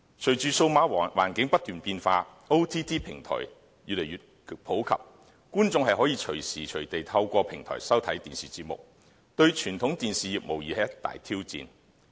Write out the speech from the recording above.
隨着數碼環境不斷變化 ，OTT 平台越來越普及，觀眾可隨時隨地透過平台收看電視節目，對傳統電視業無疑是一大挑戰。